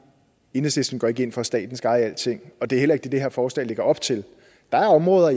enhedslisten går ikke ind for at staten skal eje alting og det er heller ikke det det her forslag lægger op til der er områder